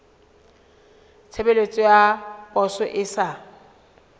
tshebeletso ya poso e sa